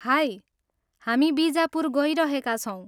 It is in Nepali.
हाई! हामी बिजापुर गइरहेका छौँ।